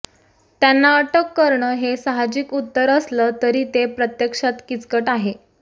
त्यांना अटक करणं हे साहजिक उत्तर असलं तरी ते प्रत्यक्षात किचकट आहे